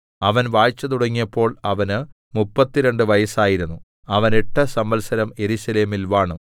അവൻ വാഴ്ച തുടങ്ങിയപ്പോൾ അവന് മുപ്പത്തിരണ്ട് വയസ്സായിരുന്നു അവൻ എട്ട് സംവത്സരം യെരൂശലേമിൽ വാണു